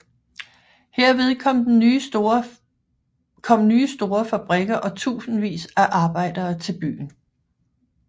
Hermed kom nye store fabrikker og tusindvis af arbejdere til byen